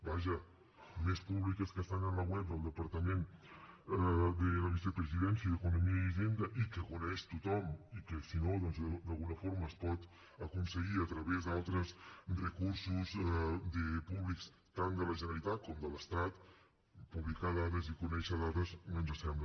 vaja més públiques que estan en la web del departament de la vicepresidència i d’economia i hisenda i que coneix tothom i que si no doncs d’alguna forma es pot aconseguir a través d’altres recursos públics tant de la generalitat com de l’estat publicar dades i conèixer dades no ens sembla